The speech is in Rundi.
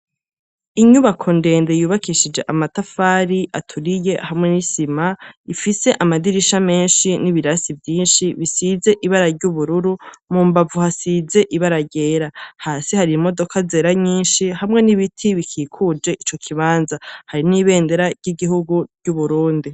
Inyubako ndende yubakishije amatafari aturiye hamwe n'isima ifise amadirisha menshi n'ibirasi vyinshi bisize ibara ry'ubururu mu mbavu hasize ibararyera hasi hari imodoka azera nyinshi hamwe n'ibiti bikikuje ico kibanza hari n'ibendera ry'igihugu ry'uburundi.